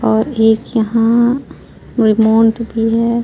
और एक यहाँ रिमोट भी है।